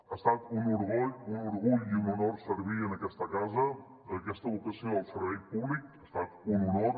ha estat un orgull i un honor servir en aquesta casa amb aquesta vocació de servei públic ha estat un honor